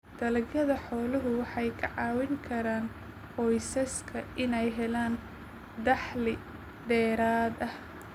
Dalagyada xooluhu waxay ka caawin karaan qoysaska inay helaan dakhli dheeraad ah.